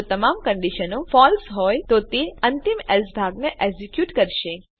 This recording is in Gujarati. જો તમામ કંડીશનો ફળસે હોય તો તે અંતિમ એલ્સે ભાગને એક્ઝેક્યુટ કરશે